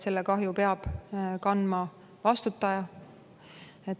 Selle kahju peab kandma vastutaja.